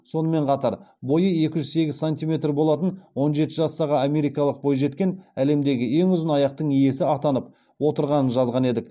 сонымен қатар бойы екі жүз сегіз сантиметр болатын он жеті жастағы америкалық бойжеткен әлемдегі ең ұзын аяқтың иесі атанып отырғанын жазған едік